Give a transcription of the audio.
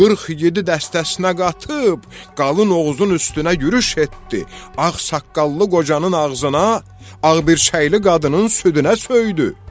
Qırx igid dəstəsinə qatıb, Qalın Oğuzun üstünə yürüş etdi, ağsaqqallı qocanın ağzına, ağbircəkli qadının südünə söydü.